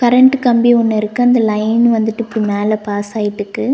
Current கம்பி ஒன்னுருக்கு அந்த லைன் வந்துட்டு பின்னால பாஸ் ஆயிட்டுக்கு.